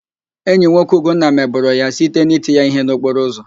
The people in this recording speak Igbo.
Enyi nwoke ụgonna mebọrọ ya site n'iti ya íhé n'okporo ụzọ